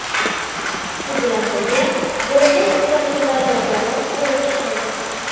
Shu bilan birga, bo‘lajak uchrashuvlar jadvali ko‘rib chiqildi.